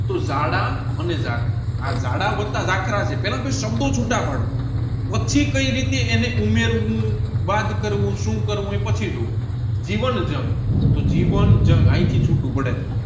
તોહ જાડા અને જાખરા પેલા બે સાભળો છૂટું પાડો પછી કઈ રીતે એને ઉમેરવું બાદ કરવું શુ કરવું એ પછી જેવું જીવન જંગ જીવન જંગ અહીંથી છુટુ પડે છે